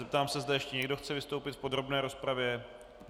Zeptám se, zda ještě někdo chce vystoupit v podrobné rozpravě.